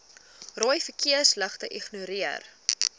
rooi verkeersligte ignoreer